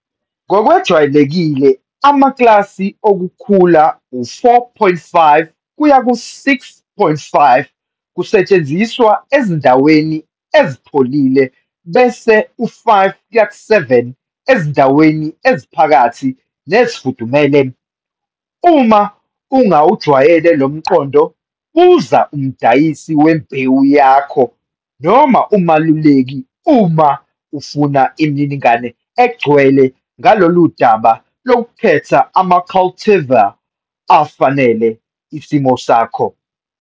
Ngokwejwayelekile amaklasi okukhula u-4,5 kuya ku-6,5 kusetshenziswa ezindaweni ezipholile bese u-5-7 ezindaweni eziphakathi nezifudumele. Uma ungawujwayele lo mqondo, buza umdayisi wembewu yakho noma umeluleki uma ufuna imininingwane egcwele kulolu daba lokukhetha ama-cultivar afanele isimo sakho.